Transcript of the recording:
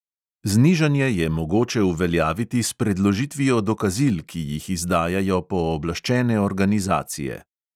Znižanje je mogoče uveljaviti s predložitvijo dokazil, ki jih izdajajo pooblaščene organizacije.